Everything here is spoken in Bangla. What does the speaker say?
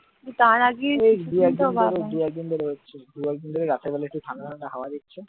দু একদিন ধরে ওই রাতের বেলা ঠান্ডা ঠান্ডা হাওয়া দিচ্ছেহ্যাঁ আগে তো তাও দিত না